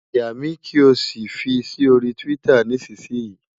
Yà mí, kí o sì fi sí orí Twitter nísinsìnyí!